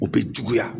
U bɛ juguya